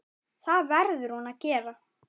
Það verður hún að gera.